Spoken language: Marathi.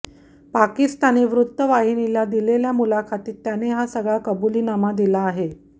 पाकिस्तानी वृत्त वाहिनीला दिलेल्या मुलाखतीत त्याने हा सगळा कबुलीनामा दिला आहे